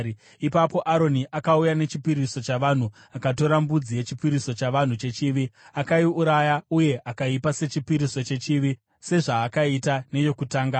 Ipapo Aroni akauya nechipiriso chavanhu akatora mbudzi yechipiriso chavanhu chechivi akaiuraya uye akaipa sechipiriso chechivi sezvaakaita neyokutanga.